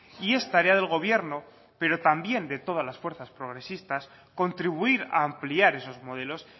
y es tarea del gobierno pero también de todas las fuerzas progresistas contribuir a ampliar esos modelos